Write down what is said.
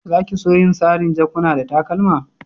Za ki so yin sarin' jakuna da takalma?